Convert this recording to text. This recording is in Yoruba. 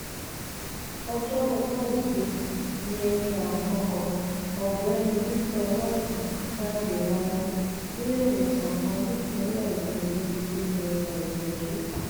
ọjọbọ tosidee ni ẹni àkọkọ ọgbẹni victor ọlọọtàn jáde láyé níléemọsán kan nípìnlẹ èkó níbi tó ti ń gba ìtọjú